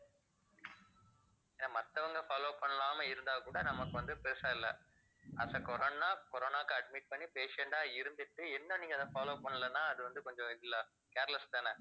மத்தவங்க follow பண்ணாம இருந்தா கூட நமக்கு வந்து பெருசா இல்ல as a corona, corona க்கு admit பண்ணி patient ஆ இருந்துட்டு இன்னும் நீங்க அதை follow பண்ணலைன்னா அது வந்து கொஞ்சம் இதுல careless தான